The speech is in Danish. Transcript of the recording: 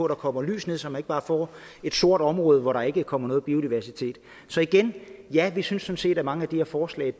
der kommer lys ned så man ikke bare får et sort område hvor der ikke kommer noget biodiversitet så igen ja vi synes sådan set at mange af de her forslag